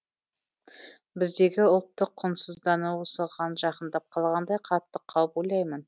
біздегі ұлттың құнсыздануы осыған жақындап қалғандай қатты қауіп ойлаймын